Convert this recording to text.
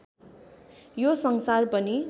यो संसार पनि